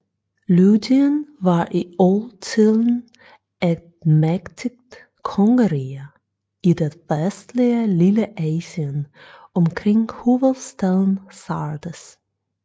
Lydien var i oldtiden et mægtigt kongerige i det vestlige Lilleasien omkring hovedstaden Sardes